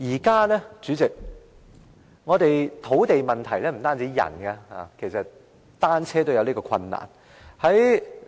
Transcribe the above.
代理主席，現時土地問題不單影響人，連單車也受影響。